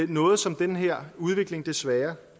noget som den her udvikling desværre